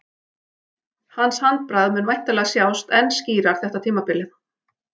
Hans handbragð mun væntanlega sjást enn skýrar þetta tímabilið.